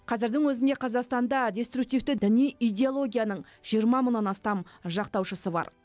қазірдің өзінде қазақстанда деструктивті діни идеологияның жиырма мыңнан астам жақтаушысы бар